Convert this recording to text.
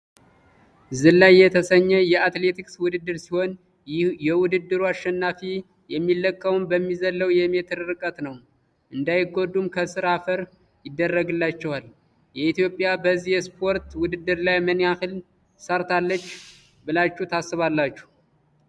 ዝላይ የተሰኘ የአትሌቲክስ ውድድር ሲሆን የውድድሩ አሸናፊ የሚለካውም በሚዘለው የሜትር ርቀት ነው እንዳይጎዱም ከስር አፈር ይደረግላቸዋል። ኢትዮጵያ በዚህ የስፖርት ውድድር ላይ ምን ያህል ሰርታለች ብላችሁ ታስባላችሁ?